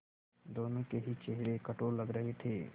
दोनों के ही चेहरे कठोर लग रहे थे